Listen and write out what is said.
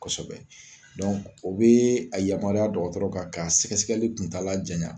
Kɔsɛbɛ dɔnku o bee a yamaruya dɔgɔtɔrɔ kan ka sɛgɛsɛgɛli kun ta la jaɲan